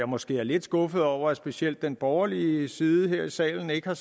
måske lidt skuffet over at specielt den borgerlige side her i salen ikke har